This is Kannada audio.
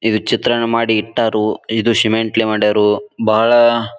ಇದು ಚಿತ್ರಾನ್ನ ಮಾಡಿ ಇಟ್ಟರೋ ಇದು ಸಿಮೆಂಟ್ಲ್ ಮಾಡ್ಯಾರೋ ಬಹಳ.